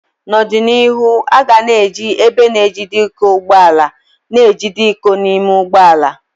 N'ọdịnihu, aga na eji ebe na-ejide iko ụgbọ ala na-ejide iko n'ime ụgbọ ala.